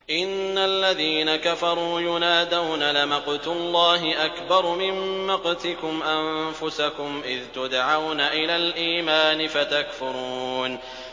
إِنَّ الَّذِينَ كَفَرُوا يُنَادَوْنَ لَمَقْتُ اللَّهِ أَكْبَرُ مِن مَّقْتِكُمْ أَنفُسَكُمْ إِذْ تُدْعَوْنَ إِلَى الْإِيمَانِ فَتَكْفُرُونَ